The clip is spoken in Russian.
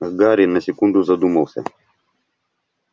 гарри на секунду задумался